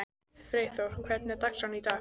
Freyþór, hvernig er dagskráin í dag?